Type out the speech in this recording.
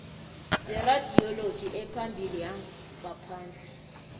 zeradioloji ephambili yangaphandle